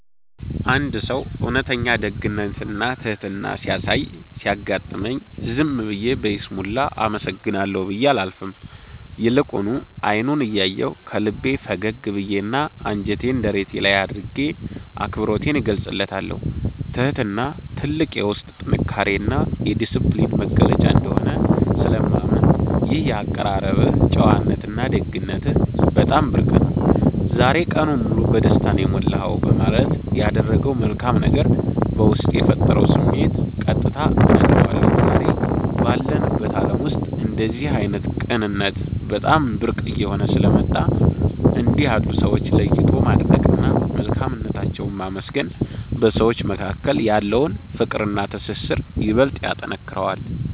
አንድ ሰው እውነተኛ ደግነትና ትሕትና ሲያሳይ ሲያጋጥመኝ፣ ዝም ብዬ በይስሙላ “አመሰግናለሁ” ብዬ አላልፍም፤ ይልቁኑ አይኑን እያየሁ፣ ከልቤ ፈገግ ብዬና እጄን ደረቴ ላይ አድርጌ አክብሮቴን እገልጽለታለሁ። ትሕትና ትልቅ የውስጥ ጥንካሬና የዲስፕሊን መገለጫ እንደሆነ ስለማምን፣ “ይህ የአቀራረብህ ጨዋነትና ደግነትህ በጣም ብርቅ ነው፤ ዛሬ ቀኔን ሙሉ በደስታ ነው የሞላኸው” በማለት ያደረገው መልካም ነገር በውስጤ የፈጠረውን ስሜት ቀጥታ እነግረዋለሁ። ዛሬ ባለንበት ዓለም ውስጥ እንደዚህ ዓይነት ቅንነት በጣም ብርቅ እየሆነ ስለመጣ፣ እንዲህ ያሉ ሰዎችን ለይቶ ማድነቅና መልካምነታቸውን ማመስገን በሰዎች መካከል ያለውን ፍቅርና ትስስር ይበልጥ ያጠነክረዋል።